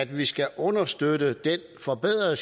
vi skal understøtte den forbedrede